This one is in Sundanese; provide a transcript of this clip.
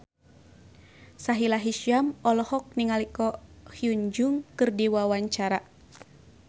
Sahila Hisyam olohok ningali Ko Hyun Jung keur diwawancara